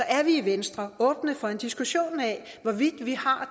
er vi i venstre åbne for en diskussion af hvorvidt vi har